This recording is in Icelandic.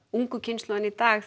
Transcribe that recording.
ungu kynslóðinni í dag